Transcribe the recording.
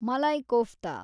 malai kofta